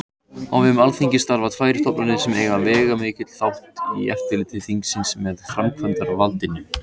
Á vegum Alþingis starfa tvær stofnanir sem eiga veigamikinn þátt í eftirliti þingsins með framkvæmdarvaldinu.